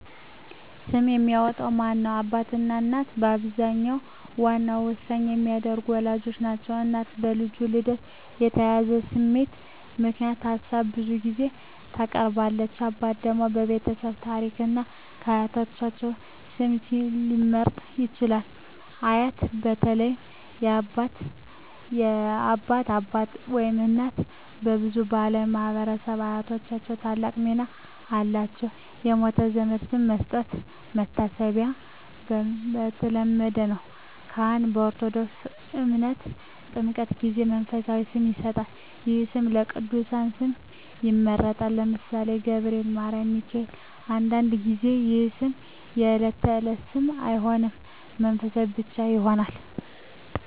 ስም የሚያወጣው ማን ነው? አባትና እናት በአብዛኛው ዋና ውሳኔ የሚያደርጉት ወላጆች ናቸው። እናት በልጁ ልደት የተያያዘ ስሜት ምክንያት ሀሳብ ብዙ ጊዜ ታቀርባለች። አባት ደግሞ የቤተሰብ ታሪክን እና የአያቶች ስም ሊመርጥ ይችላል። አያት (በተለይ የአባት አባት/እናት) በብዙ ባሕላዊ ማኅበረሰቦች አያቶች ታላቅ ሚና አላቸው። የሞተ ዘመድ ስም መስጠት (መታሰቢያ) የተለመደ ነው። ካህን (በኦርቶዶክስ ተምህርት) በጥምቀት ጊዜ መንፈሳዊ ስም ይሰጣል። ይህ ስም ከቅዱሳን ስም ይመረጣል (ለምሳሌ፦ ገብርኤል፣ ማርያም፣ ሚካኤል)። አንዳንድ ጊዜ ይህ ስም የዕለት ተዕለት ስም አይሆንም፣ መንፈሳዊ ብቻ ይሆናል።